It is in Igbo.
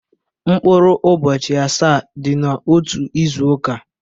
Mkpụrụ ụbọchị asaa dị n'otu izu ụka.